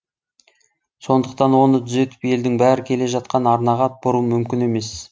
сондықтан оны түзетіп елдің бәрі келе жатқан арнаға бұру мүмкін емес